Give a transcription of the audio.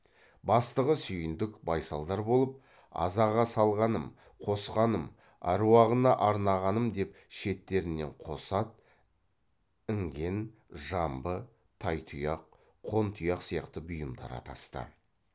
бастығы сүйіндік байсалдар болып азаға салғаным қосқаным аруағына арнағаным деп шеттерінен қос ат іңген жамбы тай тұяқ қон тұяқ сияқты бұйымдар атасты